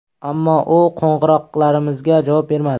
Ammo u qo‘ng‘iroqlarimizga javob bermadi.